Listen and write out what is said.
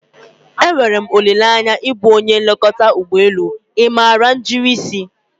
E nwere m olileanya ịbụ onye nlekọta ụgbọ elu, ị maara njirisi?